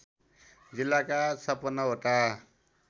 जिल्लाका ५६ वटा